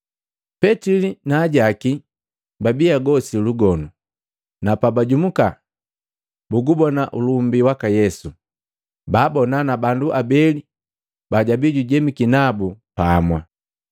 Petili na ajaki babi agosi lugonu, na pabajumuka bugubona ulumbi waka Yesu, baabona na bandu abeli bajabi jujemiki nabu pamwa.